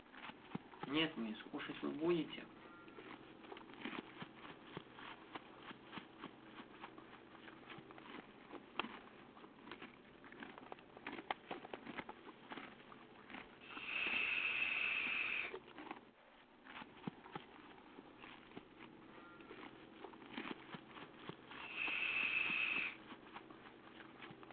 нет мисс кушать вы будете